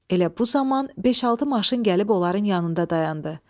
Elə bu zaman beş-altı maşın gəlib onların yanında dayandı.